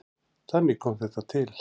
Þannig kom þetta til.